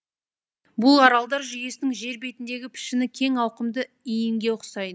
бұл аралдар жүйесінің жер бетіндегі пішіні кең ауқымды иінге ұқсайды